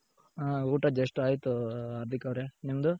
ಹಾ ಊಟ just ಆಯ್ತು ಹಾರ್ದಿಕ್ ಅವ್ರೆ. ನಿಮ್ದು